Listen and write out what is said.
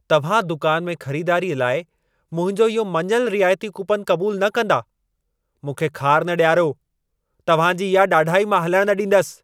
तव्हां दुकान में ख़रिदारीअ लाइ मुंहिंजो इहो मञलु रिआयती कूपनु क़बूलु न कंदा? मूंखे ख़ार न ॾियारो, तव्हां जी इहा ॾाढाई मां हलणु न ॾींदसि।